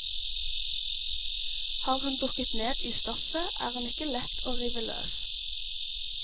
Har hun dukket ned i stoffet, er hun ikke lett å rive løs.